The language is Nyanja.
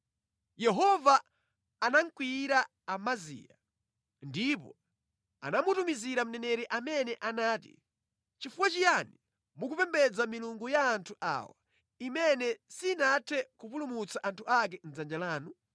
Yehova anakwiyira Amaziya, ndipo anamutumizira mneneri amene anati, “Nʼchifukwa chiyani mukupembedza milungu ya anthu awa, imene sinathe kupulumutsa anthu ake mʼdzanja lanu?”